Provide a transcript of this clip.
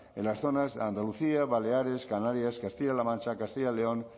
en las zonas de andalucía baleares canarias castilla la mancha castilla león